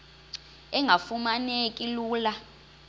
engafuma neki lula